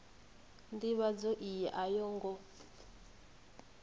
ndivhadzo iyi a yo ngo